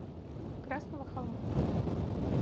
красного холма